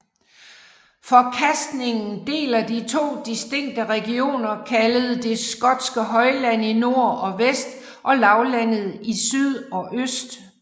Forkastningen deler de to distinkte regioner kaldt det skotske højland i nord og vest og lavlandet i syd og øst